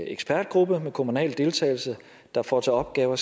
ekspertgruppe med kommunal deltagelse der får til opgave at